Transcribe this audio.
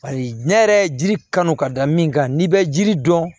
Paseke diɲɛ yɛrɛ ji kanu ka da min kan n'i bɛ ji dɔn